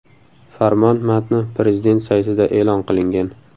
Farmon matni Prezident saytida e’lon qilingan .